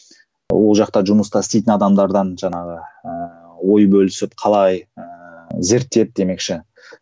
ол жақта жұмыста істейтін адамдардан жаңағы ыыы ой бөлісіп қалай ыыы зерттеп демекші